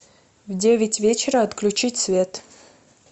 в девять вечера отключить свет